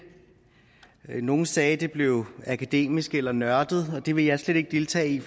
nogle sagde at det blev akademisk eller nørdet og det vil jeg slet ikke deltage i